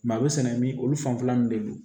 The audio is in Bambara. a bɛ sɛnɛ min olu fanfɛla nun de don